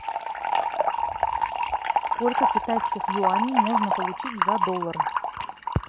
сколько китайских юаней можно получить за доллар